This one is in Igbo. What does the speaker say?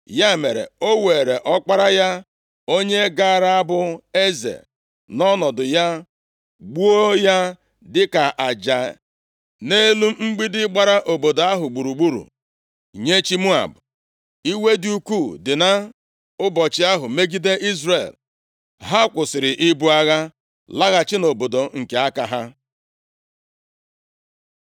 Ya mere, o weere ọkpara ya, onye gaara abụ eze nʼọnọdụ ya, gbuo ya, dịka aja nʼelu mgbidi gbara obodo ahụ gburugburu nye chi Moab. Iwe dị ukwuu dị nʼụbọchị ahụ megide Izrel. Ha kwụsịrị ibu agha, laghachi nʼobodo nke aka ha.